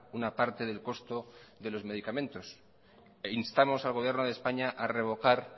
una parte del costo de los medicamentos instamos al gobierno de españa a revocar